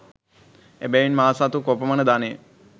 එබැවින් මා සතු කොපමණ ධනය